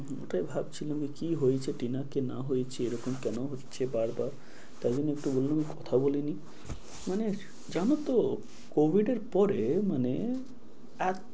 ওটাই ভাবছিলাম যে কি হয়েছে টিনার কি না হয়েছে, এরকম কেন হচ্ছে বারবার, তাই জন্য একটু বললুম কথা বলে নিই, মানে জানো তো COVID এর পরে মানে .